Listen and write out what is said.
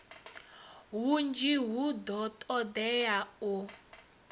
hunzhi hu do todea u